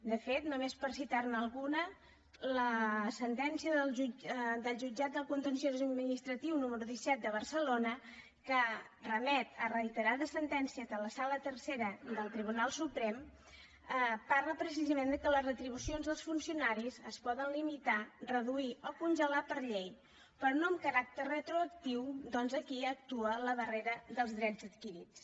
de fet només per citar ne alguna la sentència del jutjat contenciós administratiu número disset de barcelona que remet a reiterades sentències de la sala tercera del tribunal suprem parla precisament que les retribucions dels funcionaris es poden limitar reduir o congelar per llei però no amb caràcter retroactiu atès que aquí actua la darrera dels drets adquirits